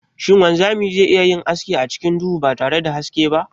Shin wanzami ze iya yin aski acikin duhu batare da haske ba?